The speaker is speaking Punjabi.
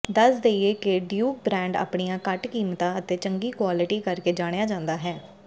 ਦੱਸ ਦੇਈਏ ਕਿ ਡਿਊਕ ਬ੍ਰੈਂਡ ਆਪਣੀਆਂ ਘੱਟ ਕੀਮਤਾਂ ਅਤੇ ਚੰਗੀ ਕੁਆਲਿਟੀ ਕਰਕੇ ਜਾਣਿਆ ਜਾਂਦਾ ਹੈ